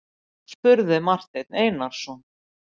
spurði Marteinn Einarsson.